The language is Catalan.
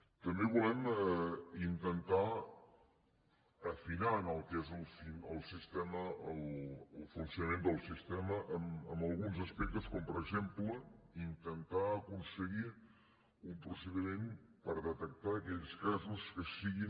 també volem intentar afinar en el que és el sistema el funcionament del sistema en alguns aspectes com per exemple intentar aconseguir un procediment per detectar aquells casos que siguin